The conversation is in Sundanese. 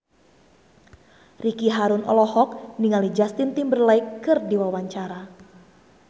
Ricky Harun olohok ningali Justin Timberlake keur diwawancara